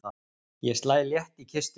Ég slæ létt í kistuna.